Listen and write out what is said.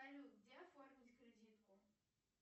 салют где оформить кредитку